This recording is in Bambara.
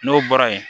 N'o bɔra yen